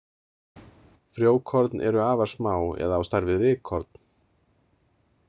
Frjókorn eru afar smá eða á stærð við rykkorn.